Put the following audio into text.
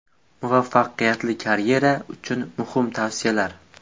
Muvaffaqiyatli karyera uchun muhim tavsiyalar.